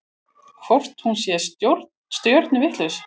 Hvort hún sé stjörnuvitlaus?